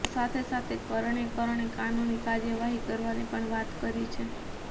તો સાથે સાથે કરણે કરણે કાનૂની કાર્યવાહી કરવાની પણ વાત કરી છે